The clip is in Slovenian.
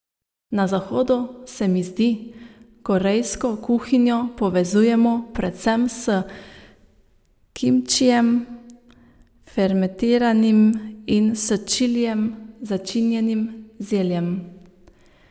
Na Zahodu, se mi zdi, korejsko kuhinjo povezujemo predvsem s kimčijem, fermentiranim in s čilijem začinjenim zeljem ...